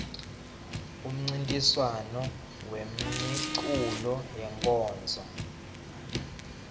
umncintiswam wemeculo wenkonzo